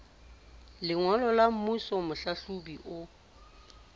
lengolo la semmuso mohlahlobi o